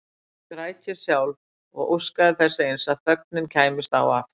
Þá grét ég sjálf og óskaði þess eins að þögnin kæmist á aftur.